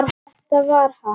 Þetta var hann!